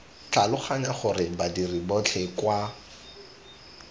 tlhaloganya gore badiri botlhe kwa